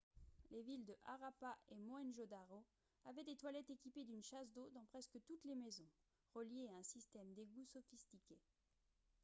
les villes de harappa et mohenjo-daro avaient des toilettes équipées d'une chasse d'eau dans presque toutes les maisons reliées à un système d'égouts sophistiqué